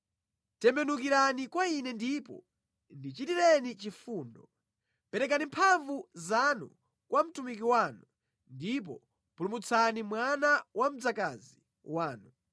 Tembenukirani kwa ine ndipo ndichitireni chifundo; perekani mphamvu zanu kwa mtumiki wanu ndipo pulumutsani mwana wa mdzakazi wanu.